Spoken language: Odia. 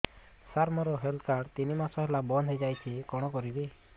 ସାର ମୋର ହେଲ୍ଥ କାର୍ଡ ତିନି ମାସ ହେଲା ବନ୍ଦ ହେଇଯାଇଛି କଣ କରିବି